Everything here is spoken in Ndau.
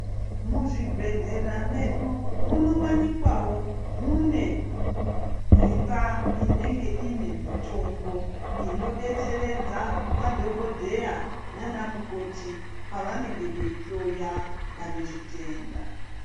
Muzvibhedhlera medu munowanikwawo mune imba inenge ine mitombo inodetseredza madhokodheya nana mukoti pavanenge veihloya vane zvitenda.